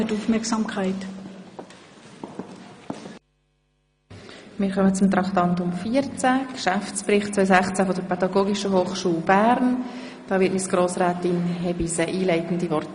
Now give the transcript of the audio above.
Zu Traktandum 14, dem Geschäftsbericht 2016 der Pädagogischen Hochschule Bern, hat Frau Grossrätin Hebeisen einleitend das Wort.